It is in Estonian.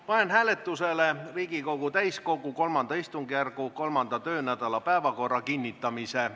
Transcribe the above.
Panen hääletusele Riigikogu täiskogu III istungjärgu 3. töönädala päevakorra kinnitamise.